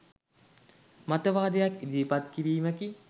මතවාදයක් ඉදිරිපත් කිරීමකි.